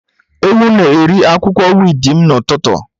Ewu na-eri akwụkwọ wiidi m n'ụtụtụ.